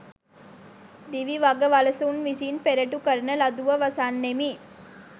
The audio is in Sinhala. දිවි වග වලසුන් විසින් පෙරටු කරන ලදුව වසන්නෙමි.